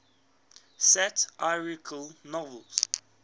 satirical novels